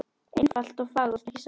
Einfalt og fagurt, ekki satt?